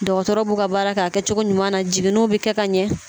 Dɔgɔtɔrɔw b'u ka baara a kɛcogo ɲuman na jiginniw bɛ kɛ ka ɲɛ